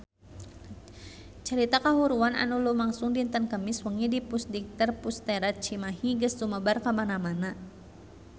Carita kahuruan anu lumangsung dinten Kemis wengi di Pusdikter Pusterad Cimahi geus sumebar kamana-mana